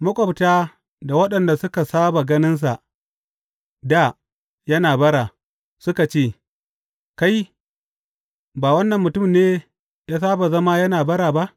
Maƙwabta da waɗanda suka saba ganinsa dā yana bara, suka ce, Kai, ba wannan mutum ne ya saba zama yana bara ba?